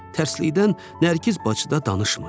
Tərsliyədən Nərgiz bacı da danışmırdı.